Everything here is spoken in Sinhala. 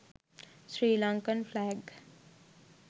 sri lankan flag